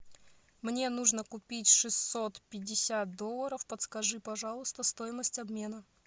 мне нужно купить шестьсот пятьдесят долларов подскажи пожалуйста стоимость обмена